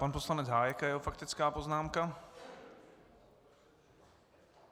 Pan poslanec Hájek a jeho faktická poznámka.